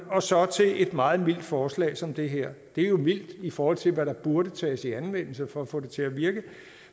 og så til et meget mildt forslag som det her det er jo mildt i forhold til hvad der burde tages i anvendelse for at få det til at virke